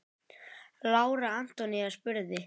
Lára Antonía spurði.